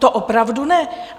To opravdu ne!